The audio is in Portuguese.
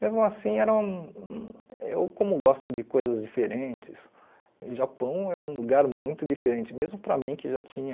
Mesmo assim, eram eu como gosto de coisas diferentes, Japão é um lugar muito diferente, mesmo para mim que já tinha...